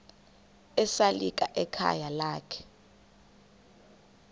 esalika ekhayeni lakhe